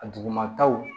A dugumataw